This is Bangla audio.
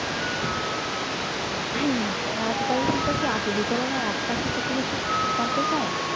রাজবাড়ি সম্পর্কে আগে বিথঙ্গলের সম্পর্কে কিছু জানতে চাও?